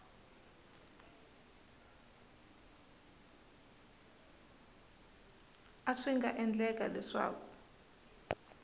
a swi nga endleka leswaku